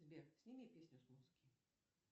сбер сними песню с музыки